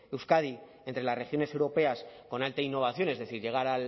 euskadi entre las regiones europeas con alta innovación es decir llegar